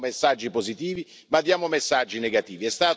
Non diamo messaggi positivi ma diamo messaggi negativi.